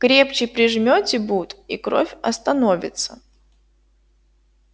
крепче прижмите бут и кровь остановится